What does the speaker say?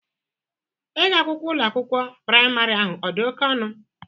Ego akwụkwọ Ụlọ akwụkwọ praịmarị ahụ ọ dị oke ọnụ?